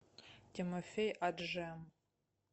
тимофей аджем